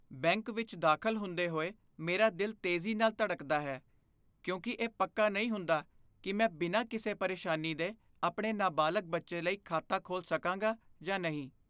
Bank ਵਿੱਚ ਦਾਖ਼ਲ ਹੁੰਦੇ ਹੋਏ, ਮੇਰਾ ਦਿਲ ਤੇਜ਼ੀ ਨਾਲ ਧੜਕਦਾ ਹੈ, ਕਿਉਂਕਿ ਇਹ ਪੱਕਾ ਨਹੀਂ ਹੁੰਦਾ ਕਿ ਮੈਂ ਬਿਨਾਂ ਕਿਸੇ ਪਰੇਸ਼ਾਨੀ ਦੇ ਆਪਣੇ ਨਾਬਾਲਗ ਬੱਚੇ ਲਈ ਖਾਤਾ ਖੋਲ੍ਹ ਸਕਾਂਗਾ ਜਾਂ ਨਹੀਂ।